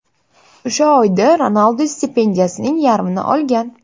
O‘sha oyda Ronaldu stipendiyasining yarmini olgan.